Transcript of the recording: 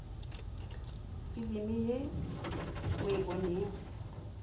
filimi ye o e bonego